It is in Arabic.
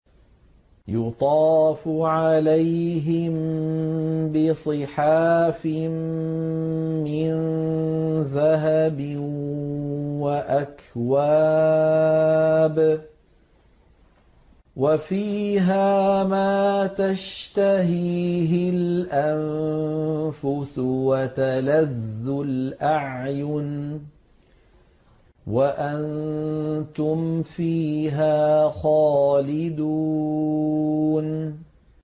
يُطَافُ عَلَيْهِم بِصِحَافٍ مِّن ذَهَبٍ وَأَكْوَابٍ ۖ وَفِيهَا مَا تَشْتَهِيهِ الْأَنفُسُ وَتَلَذُّ الْأَعْيُنُ ۖ وَأَنتُمْ فِيهَا خَالِدُونَ